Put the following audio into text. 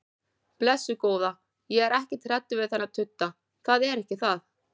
Blessuð góða, ég er ekkert hræddur við þennan tudda, það er ekki það.